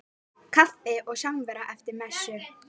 Kaffi og samvera eftir messu.